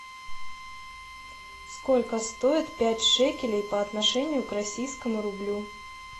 сколько стоит пять шекелей по отношению к российскому рублю